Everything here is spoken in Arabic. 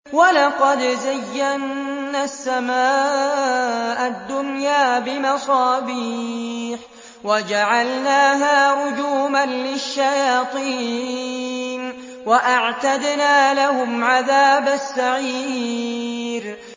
وَلَقَدْ زَيَّنَّا السَّمَاءَ الدُّنْيَا بِمَصَابِيحَ وَجَعَلْنَاهَا رُجُومًا لِّلشَّيَاطِينِ ۖ وَأَعْتَدْنَا لَهُمْ عَذَابَ السَّعِيرِ